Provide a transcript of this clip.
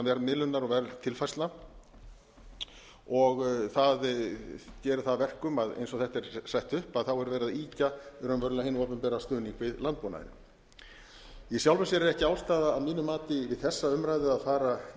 verðmiðlunar og verðtilfærslna það gerir það að verkum eins og þetta er sett upp er verið að ýkja raunverulega hinn opinbera stuðning við landbúnaðinn í sjálfu sér ekki ástæða að mínu mati við þessa umræðu að fara